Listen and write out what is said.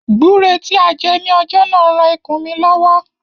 Gbúre tí a jẹ ní ọjọ́ náà ran ikùn mí lọ́wọ́.